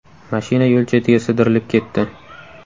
Mashina yo‘l chetiga sidirilib ketdi.